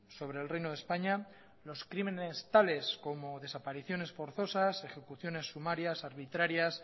sobre el reino de españa los crímenes tales como desapariciones forzosas ejecuciones sumarias arbitrarias